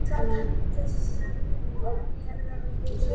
Sat hann um þessar mundir að Hjarðarholti í Dölum.